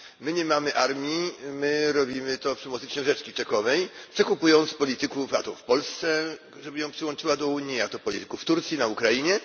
My nie mamy armii, my robimy to przy pomocy książeczki czekowej, czy kupując polityków a to w Polsce, żeby ją przyłączyć do Unii, a to polityków w Turcji, na Ukrainie.